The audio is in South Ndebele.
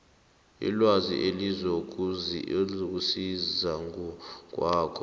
ilwazi elizokusiza ngokwakho